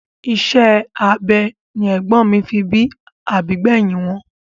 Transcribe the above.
Isẹ́ abẹ ni ègbón fi bí àbí gbẹ̀hìn wọn.